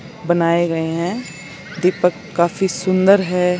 बनाए गए हैं दीपक काफी सुंदर है।